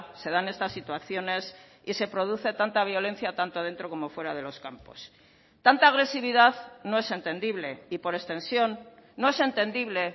se dan estas situaciones y se produce tanta violencia tanto dentro como fuera de los campos tanta agresividad no es entendible y por extensión no es entendible